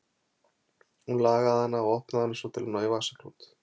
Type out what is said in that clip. Hún lagaði hana og opnaði hana svo til að ná í vasaklút.